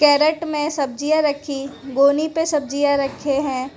Carat में सब्जियां रखी गोनी पे सब्जियां रखे हैं।